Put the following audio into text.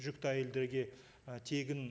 жүкті әйелдерге і тегін